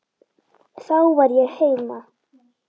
Þar var ég heima.